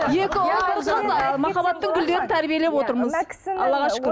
екі ұл ы махаббаттың гүлдерін тәрбиелеп отырмыз аллаға шүкір